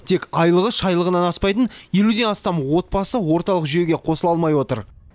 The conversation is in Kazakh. тек айлығы шайлығынан аспайтын елуден астам отбасы орталық жүйеге қосыла алмай отыр